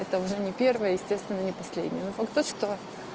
это уже не первое и естественно не последнего факт то что